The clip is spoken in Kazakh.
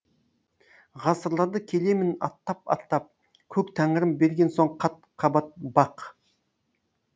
ғасырларды келемін аттап аттап көк тәңірім берген соң қат қабат бақ